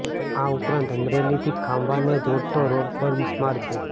આ ઉપરાંત અમરેલીથી ખાંભાને જોડતો રોડ પર બિસ્માર છે